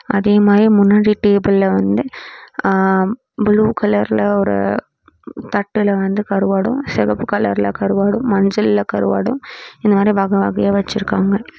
அதே மாறி முன்னாடி டேபுள்ல வந்து ஆ ப்ளூ கலர்ல ஒரு தட்டுல வந்து கருவாடும் செவப்பு கலர்ல கருவாடும் மஞ்சள்ல கருவாடும் இது மாறி வகவகயா வச்சிருக்காங்க.